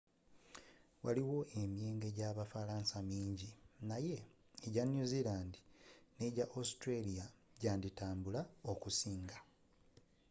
waliyo emyenge gye bufalansa mingi naye egya new zealand n'egya australia gyanditambula okusinga